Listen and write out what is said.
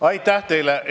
Aitäh teile!